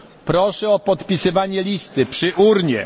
Proszę o podpisywanie listy przy urnie.